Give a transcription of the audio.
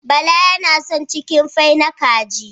Bala yana son cikinfai na kaji